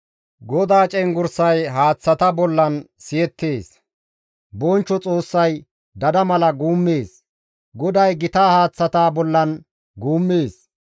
GODAA cenggurssay haaththata bollan siyettees. Bonchcho Xoossay dada mala guummees; GODAY gita haaththata bollan guummees.